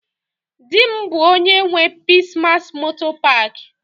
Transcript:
Di m bu onye nwe Peace mass motor park.